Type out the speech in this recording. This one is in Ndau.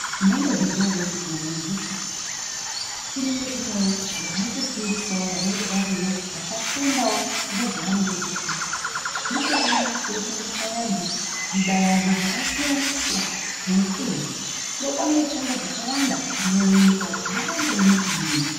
Mwaimbozviziya ere kuti kumayunivhesiti kunenge kunewo vanotofundisawo vanenge variyo vakafundawo ngezvavanenge vechifundisa, ndikona kunenge kuchifundiswa vantu zvidavado zvakasiyana siyana zvoupenyu ndokwaunofunde zvakawanda kuti munyika umwu mwakamboeme kudini.